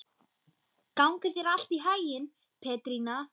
Gangi þér allt í haginn, Petrína.